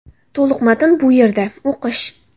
To‘liq matn bu yerda → o‘qish .